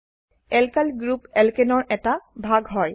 alkyl group alkane এৰ এটা ভাগ হয়